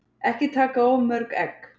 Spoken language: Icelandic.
Ekki taka of mörg egg.